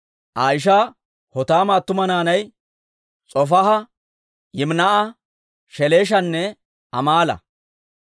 Aa ishaa Hotaama attuma naanay S'ofaaha, Yiminaa'a, Sheleeshanne Amaala.